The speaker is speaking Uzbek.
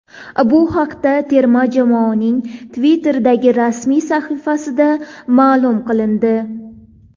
Bu haqda terma jamoaning Twitter’dagi rasmiy sahifasida ma’lum qilindi.